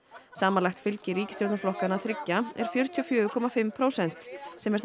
samanlagt fylgi ríkisstjórnarflokkanna þriggja er fjörutíu og fjögur komma fimm prósent sem er það